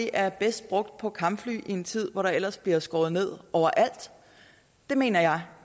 er bedst brugt på nye kampfly i en tid hvor der ellers bliver skåret ned over alt det mener jeg